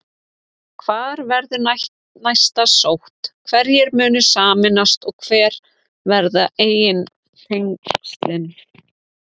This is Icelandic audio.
Hvar verður næst sótt, hverjir munu sameinast og hver verða eignatengslin?